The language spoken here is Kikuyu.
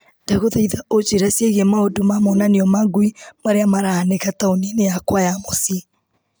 Ndagũthaitha ũnjĩre ciĩgiĩ maũndũ ma monanio ma ngui marĩa marahanĩka taũni-inĩ yakwa ya mũciĩ .